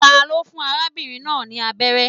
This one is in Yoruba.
Ta ló fún arábìnrin náà ni abẹ́rẹ́?